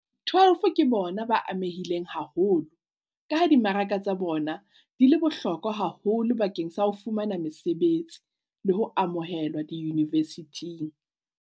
12 ke bona ba amehileng haholo, ka ha dimaraka tsa bona di le bohlokwa haholo bakeng sa ho fumana mesebetsi le ho amohelwa diyunivesithing.